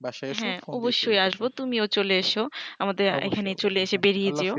বাসায় এস হ্যা অবশ্যই আসবো তুমি ও চলে এস আমাদের এইখানে চলে এসে বেরিয়ে যেও